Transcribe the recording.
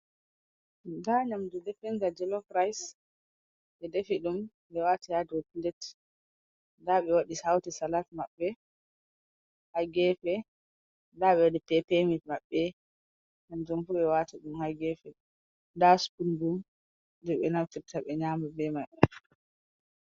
Nda nyamdu definga jelof rais, ɓe defi ɗum ɓe waati ha dow pilet, nda ɓe waɗi hauti salat maɓɓe ha gefe, nda ɓe waɗi pepe-mit maɓɓe, hanjum bo ɓe waati ɗum ha gefe, nda spun bo, je ɓe naftirta ɓe nyama be mai.